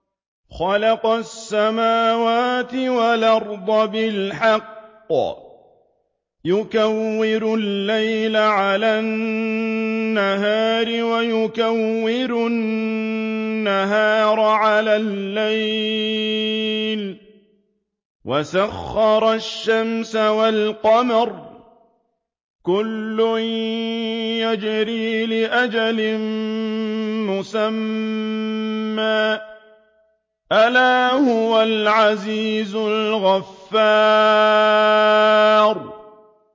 خَلَقَ السَّمَاوَاتِ وَالْأَرْضَ بِالْحَقِّ ۖ يُكَوِّرُ اللَّيْلَ عَلَى النَّهَارِ وَيُكَوِّرُ النَّهَارَ عَلَى اللَّيْلِ ۖ وَسَخَّرَ الشَّمْسَ وَالْقَمَرَ ۖ كُلٌّ يَجْرِي لِأَجَلٍ مُّسَمًّى ۗ أَلَا هُوَ الْعَزِيزُ الْغَفَّارُ